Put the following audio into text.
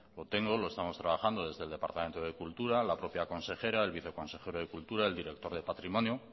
lo tengo lo estamos trabajando desde el departamento de cultura la propia consejera el viceconsejero de cultura el director de patrimonio